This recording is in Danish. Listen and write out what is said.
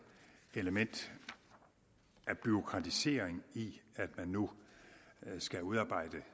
element af bureaukratisering i at man nu skal udarbejde